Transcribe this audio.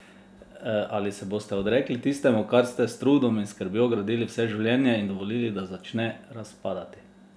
Ali se boste odrekli tistemu, kar ste s trudom in skrbjo gradili vse življenje, in dovolili, da začne razpadati?